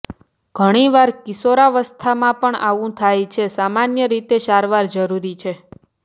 ઘણીવાર કિશોરાવસ્થામાં પણ આવું થાય છે સામાન્ય રીતે સારવાર જરૂરી છે